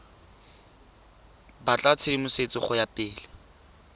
batla tshedimosetso go ya pele